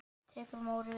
Tekur Móri við?